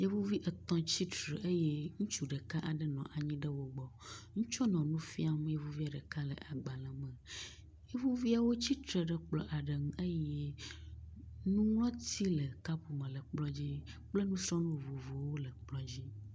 Yevuvi etɔ̃ tsitre eye ŋutsu ɖeka aɖe nɔ anyi ɖe wó gbɔ, nutsua nɔ nufiam yevuvia ɖeka le agbalē me, yevuviawo tsitre ɖe kplɔ aɖe ŋu eye nuŋlɔti le kapme le ekplɔa dzi kple nusrɔnu vovowo le ekplɔa dzi